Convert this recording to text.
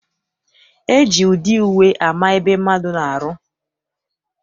E ji ụdị uwe ama ebe mmadụ na-arụ.